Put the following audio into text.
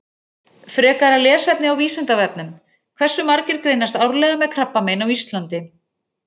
Frekara lesefni á Vísindavefnum: Hversu margir greinast árlega með krabbamein á Íslandi?